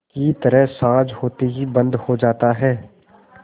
की तरह साँझ होते ही बंद हो जाता है